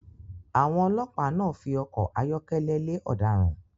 Àwọn ọlọ́pa náà fi ọkọ̀ ayọ́kẹ́lẹ̀ lè ọ̀daràn